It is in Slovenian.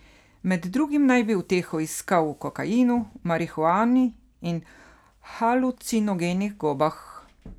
Med drugim naj bi uteho iskal v kokainu, marihuani in halucinogenih gobah.